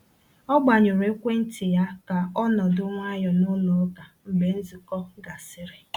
O gbanyụrụ ekwentị ya ka ọ nọdụ nwayọ n’ụlọ ụka mgbe nzukọ gasịrị.